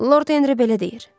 Lord Henri belə deyir.